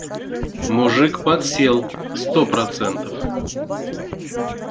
мужик подсел сто процентов